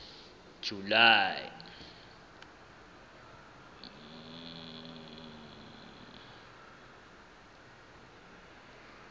july